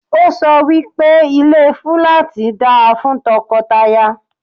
Ọ́ sọ wí pé ilé fúláàtì da fún tọkọtaya.